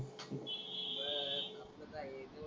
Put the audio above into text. जेवतच आहे.